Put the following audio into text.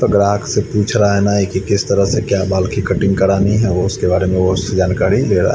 ग्राहक से पूछ रहा है नाई की किस तरह क्या बाल की कटिंग करानी है वो उसके बारे में वो उसे जानकारी ले रहा--